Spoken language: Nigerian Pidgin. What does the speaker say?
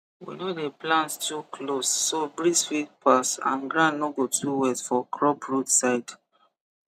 we no dey plant too close so breeze fit pass and ground no go too wet for crop root side